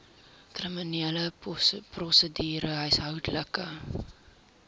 kriminele prosedure huishoudelike